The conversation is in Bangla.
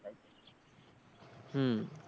হম